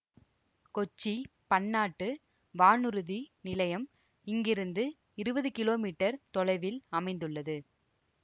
கொச்சி பன்னாட்டு வானூர்தி நிலையம் இங்கிருந்து இருவது கிலோ மீட்டர் தொலைவில் அமைந்துள்ளது